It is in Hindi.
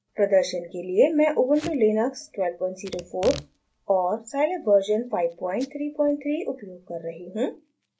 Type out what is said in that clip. प्रदर्शन के लिए मैं उबन्टु लिनक्स 1204 और साईलैब वर्जन 533 उपयोग कर रही हूँ